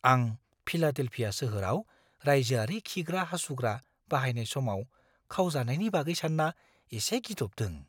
आं फिलाडेल्फिया सोहोराव रायजोआरि खिग्रा-हासुग्रा बाहायनाय समाव खावजानायनि बागै सानना एसे गिदबदों।